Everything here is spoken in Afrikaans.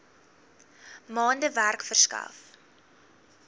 maande werk verskaf